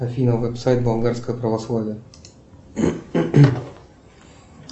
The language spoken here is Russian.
афина веб сайт болгарское православие